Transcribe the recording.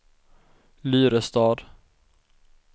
Lyrestad